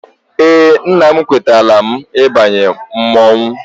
Eé, nna m ekwetala m ịbanye mmọnwụ.